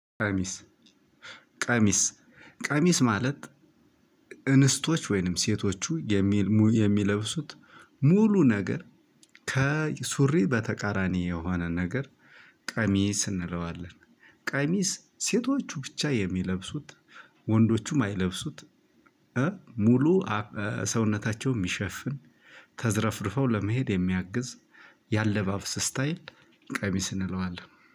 ቀሚስ ቀሚስ ቀሚስ ማለት እንስቶች ወይንም ሴቶቹ የሚል የሚለብሱት ሙሉ ነገር ከሱሪ በተቃራኒ የሆነ ነገር ቀሚስ እንለዋለን። ቀሚስ ሴቶቹ ብቻ የሚለብሱት ወንዶቹ ማይለብሱት። ሙሉ ሰውነታቸውን የሚሸፍን ተዘረፍርፈው ለመሄድ የሚያግዝ የአለባብስ ስታይል። ቀሚስ እንለዋለን